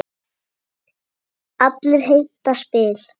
Allir heimta spil.